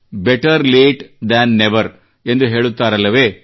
better late than never ಎಂದು ಹೇಳುತ್ತಾರಲ್ಲವೇ